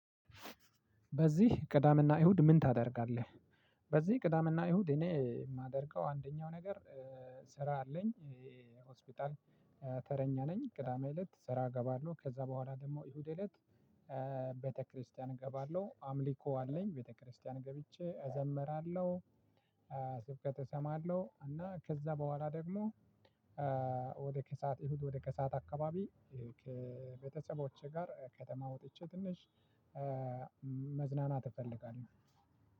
በዚህ ቅዳሜ እና እሁድ ምን ታደርጋለህ? በዚህ ቅዳሜ እና እሁድ እኔ የማደርገው አንደኛው ነገር ስራ አለኝ ሆስፒታል ተረኛ ነኝ ቅዳሜ እለት ስራ እገባለሁ። ከዛ በኋላ ደግሞ እሁድ እለት ቤተክርስቲያን እገባለሁ። አምልኮ አለኝ ቤተክርስቲያን ገብቼ እዘምራለሁ። ስብከት እሰማለሁ እና ከዛ በኋላ ደግሞ ወደ ከሰአት እሁድ ወደ ከሰአት አካባቢ ከቤተሰቦቼ ጋር ከተማ ወጥቼ ትንሽ መዝናናት እፈልጋለሁ።